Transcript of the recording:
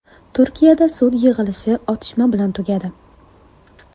Turkiyada sud yig‘ilishi otishma bilan tugadi.